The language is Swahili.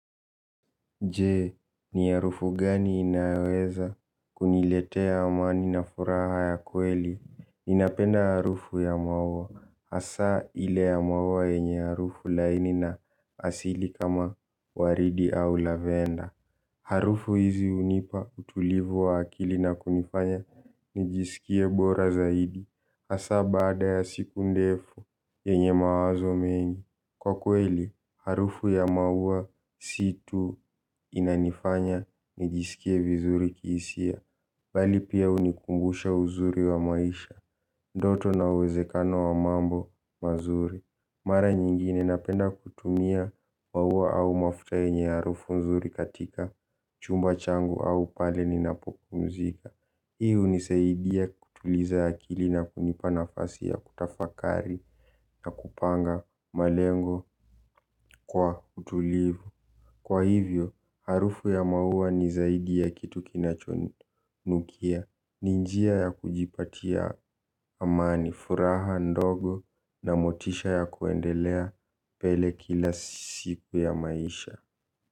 Je, ni harufu gani inayoweza kuniletea amani na furaha ya kweli? Ninapenda harufu ya maua hasa ile ya maua yenye harufu laini na asili kama waridi au lavenda. Harufu hizi hunipa utulivu wa akili na kunifanya nijisikie bora zaidi hasa baada ya siku ndefu yenye mawazo mengi. Kwa kweli, harufu ya maua si tu inanifanya nijisikie vizuri kihisia bali pia hunikumbusha uzuri wa maisha. Ndoto na uwezekano wa mambo mazuri. Mara nyingine napenda kutumia maua au mafuta yenye ya harufu nzuri katika chumba changu au pale ninapopumzika. Hii hunisaidia kutuliza akili na kunipa nafasi ya kutafakari na kupanga malengo kwa utulivu. Kwa hivyo, harufu ya maua ni zaidi ya kitu kinacho nukia ni njia ya kujipatia amani, furaha ndogo na motisha ya kuendelea mbele kila siku ya maisha.